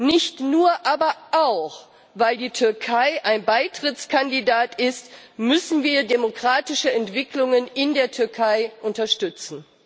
Nicht nur, aber auch, weil die Türkei ein Beitrittskandidat ist, müssen wir demokratische Entwicklungen in der Türkei unterstützen.